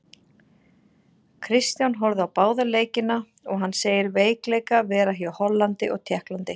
Kristján horfði á báða leikina og hann segir veikleika vera hjá Hollandi og Tékklandi.